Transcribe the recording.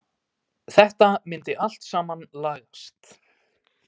Þetta myndi allt saman lagast.